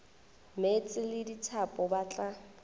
meetse le dithapo ba tla